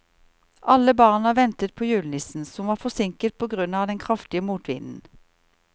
Alle barna ventet på julenissen, som var forsinket på grunn av den kraftige motvinden.